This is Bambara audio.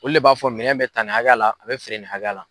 Olu le b'a fɔ minɛn bɛ ta nin hakɛya la a bɛ feere nin hakɛya la.